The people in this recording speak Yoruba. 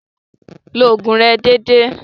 Lo ògùn rẹ dédé.